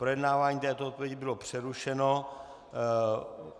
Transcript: Projednávání této odpovědi bylo přerušeno.